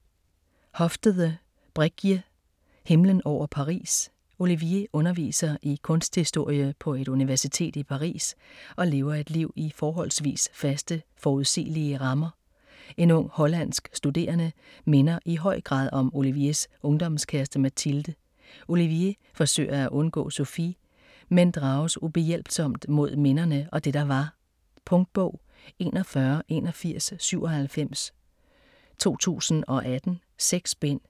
Hofstede, Bregje: Himlen over Paris Olivier underviser i kunsthistorie på et universitet i Paris og lever et liv i forholdsvis faste, forudsigelige rammer. En ung hollandsk studerende minder i høj grad om Oliviers ungdomskæreste Mathilde. Olivier forsøger at undgå Sofie, men drages ubehjælpsomt mod minderne og det der var. Punktbog 418197 2018. 6 bind.